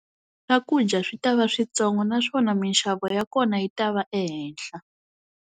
Swakudya swi ta va switsongo naswona minxavo ya kona yi ta va ehenhla.